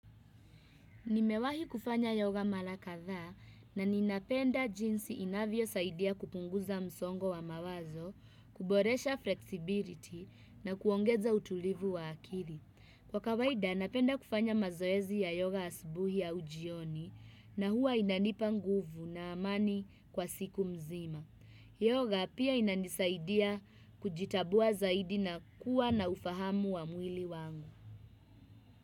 Nimewahi kufanya yoga mara kadhaa na ninapenda jinsi inavyosaidia kupunguza msongo wa mawazo, kuboresha flexibility na kuongeza utulivu wa akili. Kwa kawaida, napenda kufanya mazoezi ya yoga asubuhi au jioni na huwa inanipa nguvu na amani kwa siku mzima. Yoga pia inanisaidia kujitambua zaidi na kuwa na ufahamu wa mwili wangu.